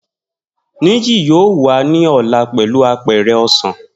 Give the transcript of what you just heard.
Niyi yoo wa ni ọla pẹlu apẹ̀rẹ̀ osan.